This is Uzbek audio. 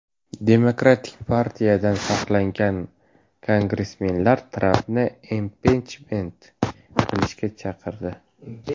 Demokratik partiyadan saylangan kongressmenlar Trampni impichment qilishga chaqirdi.